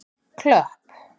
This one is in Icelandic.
Klöpp